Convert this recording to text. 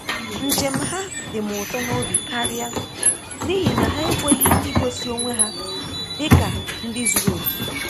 Njem ha dịm ụtọ n'obi karịa n’ihi na ha ekweghị igosi onwe ha dị ka ndị zuru oke